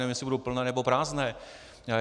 Nevím, jestli budou plné, nebo prázdné.